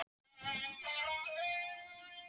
Undrandi spyr ég hvort honum þyki stjórnmál áhugaverð.